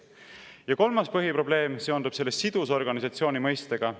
Ja kolmas põhiprobleem seondub sidusorganisatsiooni mõistega.